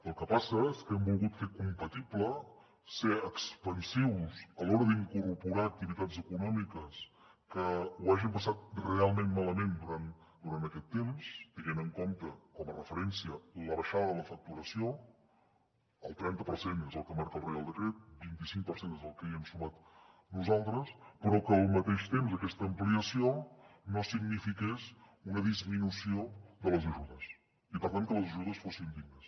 el que passa és que hem volgut fer compatible ser expansius a l’hora d’incorporar activitats econòmiques que ho hagin passat realment malament durant aquest temps tenint en compte com a referència la baixada de la facturació el trenta per cent és el que marca el reial decret vint cinc per cent és el que hi hem sumat nosaltres però que al mateix temps aquesta ampliació no signifiqués una disminució de les ajudes i per tant que les ajudes fossin dignes